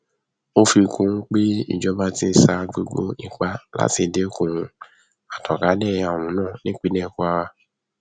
ó fi kún un pé ìjọba ti ń sa gbogbo ipá láti dẹkun àtànkálẹ àrùn náà nípínlẹ kwara